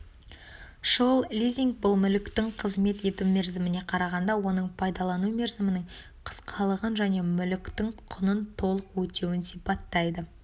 шұғыл лизинг бұл мүліктің қызмет ету мерзіміне қарағанда оның пайдалану мерзімінің қысқалығын және мүліктің құнын толық өтеуін сипаттайды